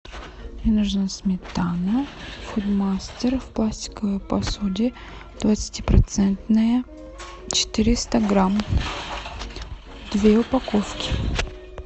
мне нужна сметана мастер в пластиковой посуде двадцати процентная четыреста грамм две упаковки